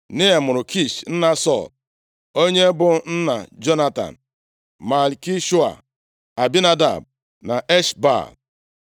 Nea mụrụ Kish nna Sọl, onye bụ nna Jonatan, Malkishua, Abinadab na Esh-Baal.